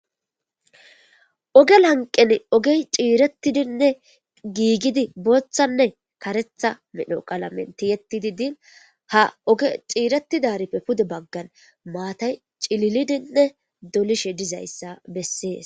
Ogel hanqen ogey ciirettidinne giigidi booththanne karetha medno qalamenti yettidi diin ha oge ciiretidarippe pude baggan maatay cililidinne dolishe dizayssa bessees.